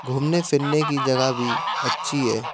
घूमने फिरने की जगह भी अच्छी है।